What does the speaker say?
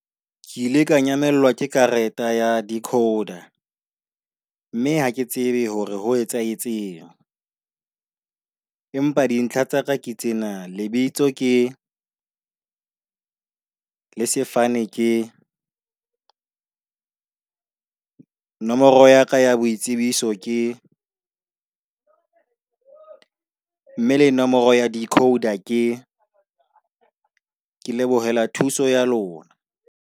Ke ile ka nyamellwa ka karete ya decoder, mme ha ke tsebe hore ho etsahetseng. Empa dintlha tsa ka ke tsena lebitso ke , le sefane ke , nomoro ya ka ya boitsebiso ke . Mme le nomoro ya decoder ke , ke lebohela thuso ya lona.